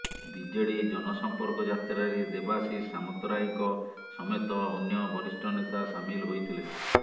BJD ଜନସମ୍ପର୍କ ଯାତ୍ରାରେ ଦେବାଶିଷ ସାମନ୍ତରାୟଙ୍କ ସମେତ ଅନ୍ୟ ବରିଷ୍ଠ ନେତା ସାମିଲ ହୋଇଥିଲେ